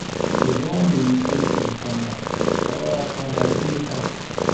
Ki zo mu yi ƙunshin sallah saura kwana biyu fa